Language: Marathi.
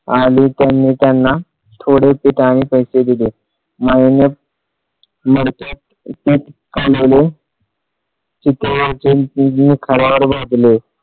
आली त्याने त्यांना थोडे पीठ आणि पैसे दिले माईने मडक्यात पीठ कालवले खड्यावर भाजले